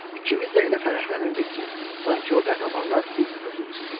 İkimiz də elə fərəhlənirdik ki, sanki o qəhrəmanlar biz özümüz idik.